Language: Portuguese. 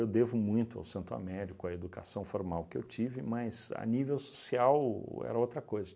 Eu devo muito ao Santo Américo, à educação formal que eu tive, mas a nível social era outra coisa.